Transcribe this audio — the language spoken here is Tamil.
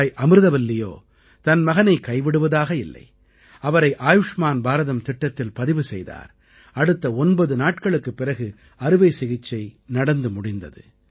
தாய் அமிர்தவல்லியோ தன் மகனை கைவிடுவதாக இல்லை அவரை ஆயூஷ்மான் பாரதம் திட்டத்தில் பதிவு செய்தார் அடுத்த ஒன்பது நாட்களுக்குப் பிறகு அறுவைசிகிச்சை நடந்து முடிந்தது